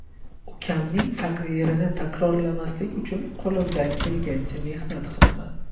Ukamning taqdirini takrorlamaslik uchun qo‘limdan kelgancha mehnat qilaman.